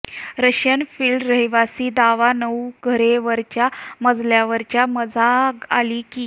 Russian field रहिवासी दावा नऊ घरे वरच्या मजल्यावरच्या मजा आली की